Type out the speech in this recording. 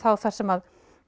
það sem